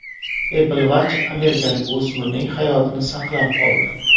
Apple Watch amerikalik o‘smirning hayotini saqlab qoldi.